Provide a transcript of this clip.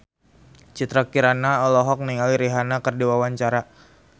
Citra Kirana olohok ningali Rihanna keur diwawancara